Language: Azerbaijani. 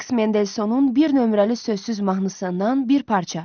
Feliks Mendelsonun bir nömrəli sözsüz mahnısından bir parça.